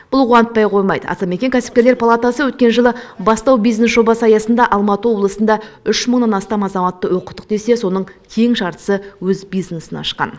бұл қуантпай қоймайды атамекен кәсіпкерлер палатасы өткен жылы бастау бизнес жобасы аясында алматы облысында үш мыңнан астам азаматты оқыттық десе соның тең жартысы өз бизнесін ашқан